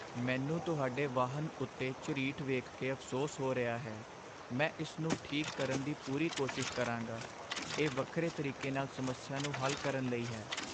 ਮੈਨੂੰ ਤੁਹਾਡੇ ਵਾਹਨ ਉੱਤੇ ਝਰੀਟ ਵੇਖ ਕੇ ਅਫ਼ਸੋਸ ਹੋ ਰਿਹਾ ਹੈ, ਮੈਂ ਇਸ ਨੂੰ ਠੀਕ ਕਰਨ ਦੀ ਪੂਰੀ ਕੋਸ਼ਿਸ਼ ਕਰਾਂਗਾ। ਇਹ ਵੱਖਰੇ ਤਰੀਕੇ ਨਾਲ ਸਮੱਸਿਆ ਨੂੰ ਹੱਲ ਕਰਨ ਲਈ ਹੈ।